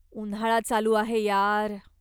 उन्हाळा चालू आहे यार!